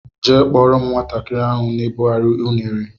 Jee kpọrọ m nwatakịrị ahụ na ebughari unere!!!